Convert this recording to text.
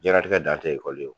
Diɲɛlatigɛ dan tɛ ekɔli ye.